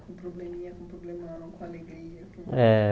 Com probleminha, com problemão, com alegria. É